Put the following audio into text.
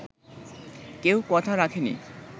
কেউ কথা রাখেনি